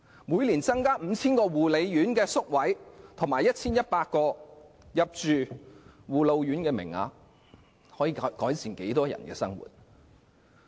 每年增加 5,000 個護養院宿位和 1,100 個護老院名額，可以改善多少人的生活？